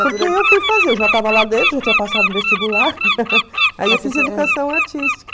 Porque eu fui fazer, eu já estava lá dentro, já tinha passado o vestibular, aí eu fiz educação artística.